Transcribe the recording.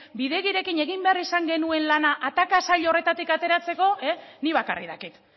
bidegirekin egin behar izan genuen lana ataka saio horretatik ateratzeko nik bakarrik dakit